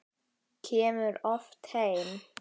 Kemur oft heim.